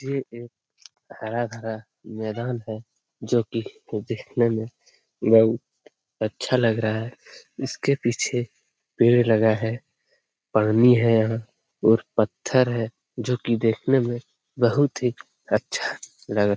ये एक हराभरा मैदान है जो की देखने में बहुत अच्छा लग रहा है इसके पीछे पेड़ लगा है पानी है यहाँ और पत्थर है जो की देखने में बहुत ही अच्छा लग रहा --